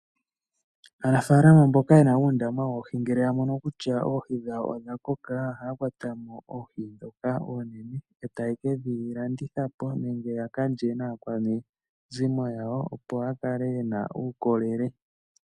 Aanafalama mboka yena uundama woohi ngele ya mono kutya oohi dhawo odha koka, ohaya kwatamo oohi dhoka oonene, etaya kedhi landithapo nenge ya kalye naakwanezimo yawo, opo ya kale yena uukolele.